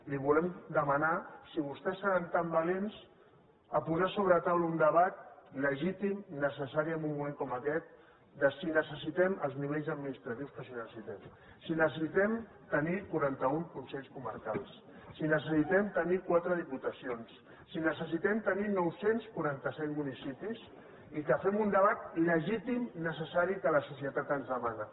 li volem demanar si vostès seran tan valents a posar sobre la taula un debat legítim necessari en un moment com aquest de si necessitem els nivells administratius que es necessiten si necessitem tenir quaranta un conselles comarcals si necessitem tenir quatre diputacions si necessitem tenir nou cents i quaranta set municipis i que fem un debat legítim necessari que la societat ens demana